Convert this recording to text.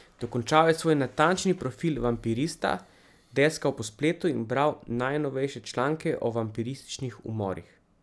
Dokončal je svoj natančni profil vampirista, deskal po spletu in bral najnovejše članke o vampirističnih umorih.